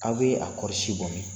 Aw bɛ a kɔɔrisi bɔ min?